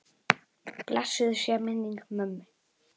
Blessuð sé minning mömmu.